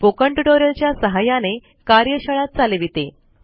spoken tutorial च्या सहाय्याने कार्यशाळा चालविते